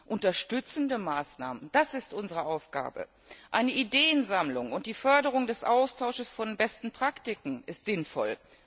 Unterstützende Maßnahmen, das ist unsere Aufgabe. Eine Ideensammlung und die Förderung des Austauschs von besten Praktiken sind sinnvoll.